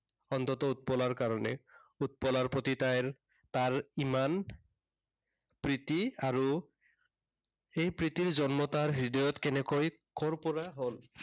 অন্ততঃ উৎপলাৰ কাৰনে। উৎপলাৰ প্ৰতি তাইৰ, তাৰ ইমান প্ৰীতি আৰু সেই প্ৰীতিৰ জন্ম তাৰ হৃদয়ত কেনেকৈ কৰ পৰা হল